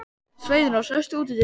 Sveinrós, læstu útidyrunum.